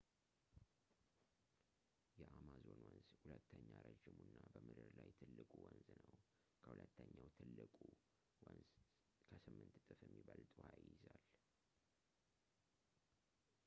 የአማዞን ወንዝ ሁለተኛ ረዥሙ እና በምድር ላይ ትልቁ ወንዝ ነው ከሁለተኛው ትልቁ ወንዝ ከ 8 እጥፍ የሚበልጥ ውሃ ይይዛል